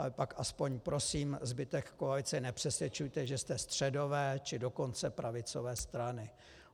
Ale pak aspoň prosím zbytek koalice, nepřesvědčujte, že jste středové, či dokonce pravicové strany.